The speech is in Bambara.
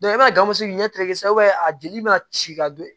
i b'a ye ganmuso ɲɛ te se k'a jeli be ka ci ka don